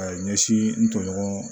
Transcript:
A ye ɲɛsin n tɔɲɔgɔn